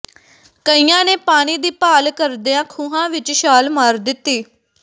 ਕਈਆਂ ਨੇ ਪਾਣੀ ਦੀ ਭਾਲ ਕਰਦਿਆਂ ਖੂਹਾਂ ਵਿਚ ਛਾਲ ਮਾਰ ਦਿੱਤੀ